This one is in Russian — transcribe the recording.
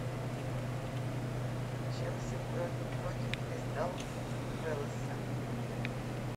челси против кристал пэласа